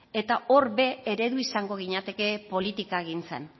eta hor ere eredu izango ginateke politikagintzan